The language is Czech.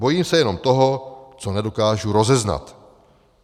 Bojím se jenom toho, co nedokážu rozeznat.